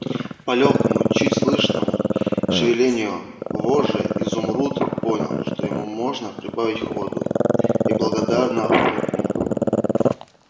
по лёгкому чуть слышному шевелению вожжей изумруд понял что ему можно прибавить ходу и благодарно фыркнул